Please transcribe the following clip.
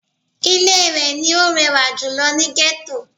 Ilé rẹ̀ ni ó rẹwà jùlō ni Gẹ́tò